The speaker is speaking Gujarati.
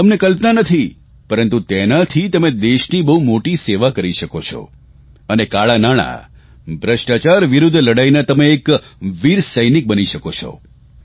તમને કલ્પના નથી પરંતુ તેનાથી તમે દેશની બહુ મોટી સેવા કરી શકો છો અને કાળાં નાણાં ભ્રષ્ટાચાર વિરૂદ્ધ લડાઇના તમે એક વીર સૈનિક બની શકો છો